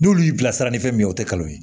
N'olu y'i bilasira ni fɛn min ye o tɛ kalo ye